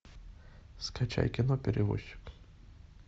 скачай кино перевозчик